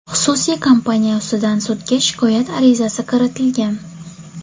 Xususiy kompaniya ustidan sudga shikoyat arizasi kiritilgan.